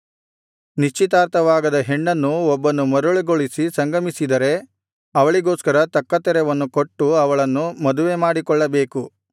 ನಿಶ್ಚಿತಾರ್ಥವಾಗದ ಹೆಣ್ಣನ್ನು ಒಬ್ಬನು ಮರುಳುಗೊಳಿಸಿ ಸಂಗಮಿಸಿದರೆ ಅವಳಿಗೋಸ್ಕರ ತಕ್ಕ ತೆರವನ್ನು ಕೊಟ್ಟು ಅವಳನ್ನು ಮದುವೆಮಾಡಿಕೊಳ್ಳಬೇಕು